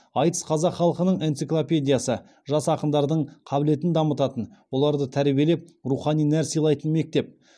айтыс қазақ халқының энциклопедиясы жас ақындардың қабілетін дамытатын оларды тәрбиелеп рухани нәр сыйлайтын мектеп